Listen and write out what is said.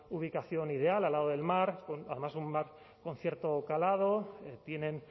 ubicación ideal al lado del mar además un mar con cierto calado tienen